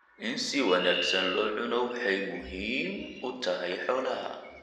In si wanaagsan loo cuno waxay muhiim u tahay xoolaha.